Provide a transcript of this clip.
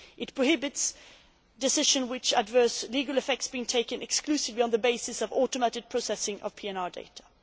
It prohibits decisions with adverse legal effects being taken exclusively on the basis of automatic processing of PNR data.